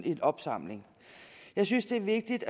en opsamling jeg synes det er vigtigt